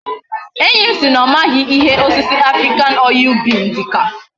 Enyi si na omaghi ihe osisi African oil bean dika